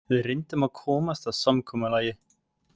Við reyndum að komast að samkomulagi